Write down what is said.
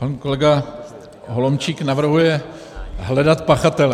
Pan kolega Holomčík navrhuje hledat pachatele.